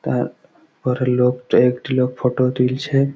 তার পরের লোকট একটি লোক ফটো তুলছে।